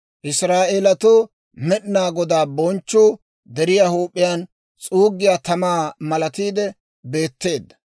Israa'eelatoo Med'inaa Godaa bonchchuu deriyaa huup'iyaan s'uuggiyaa tamaa malatiide beetteedda.